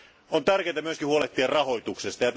On tärkeää myös huolehtia rahoituksesta.